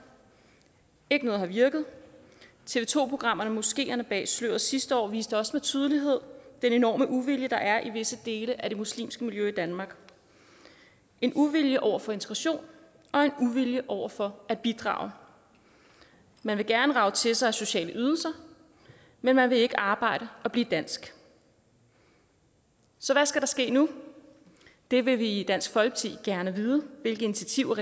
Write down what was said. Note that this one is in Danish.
ikke noget har virket tv to programmerne moskeerne bag sløret sidste år viste også med tydelighed den enorme uvilje der er i visse dele af det muslimske miljø i danmark en uvilje over for integration og en uvilje over for at bidrage man vil gerne rage til sig af sociale ydelser men man vil ikke arbejde og blive dansk så hvad skal der ske nu det vil vi i dansk folkeparti gerne vide hvilke initiativer